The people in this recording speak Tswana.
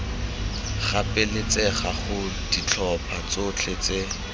gapeletsega gore ditlhopha tsotlhe tse